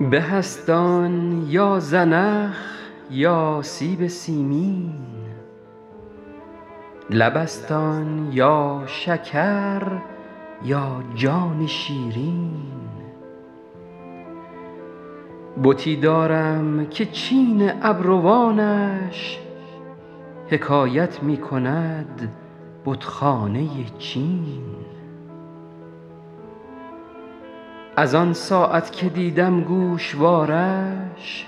به است آن یا زنخ یا سیب سیمین لب است آن یا شکر یا جان شیرین بتی دارم که چین ابروانش حکایت می کند بتخانه چین از آن ساعت که دیدم گوشوارش